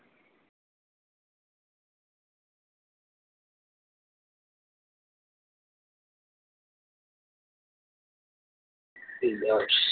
સ